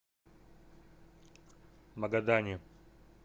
магадане